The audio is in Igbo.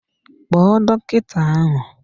Kpo dọkịta ahụ!